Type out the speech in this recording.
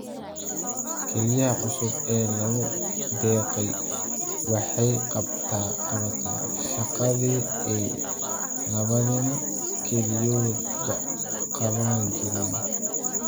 Kelyaha cusub ee lagu deeqay waxay qabataa shaqadii ay labadiina kelyoodba qaban jireen.